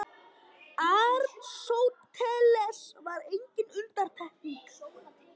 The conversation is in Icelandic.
Aristóteles var engin undantekning.